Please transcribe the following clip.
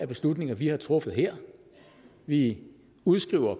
beslutninger vi har truffet herinde vi udskriver